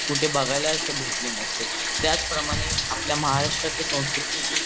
कुठे बघायला भेटले नसते त्याच प्रमाणे आपली महाराष्ट्राच्या संस्कुत्तीत